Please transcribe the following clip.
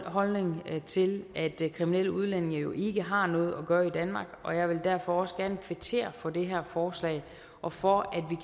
holdning til at kriminelle udlændinge jo ikke har noget at gøre i danmark og jeg vil derfor også gerne kvittere for det her forslag og for at